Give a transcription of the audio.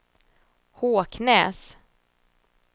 Håknäs